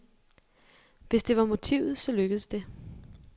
Hvis det var motivet, så lykkedes det.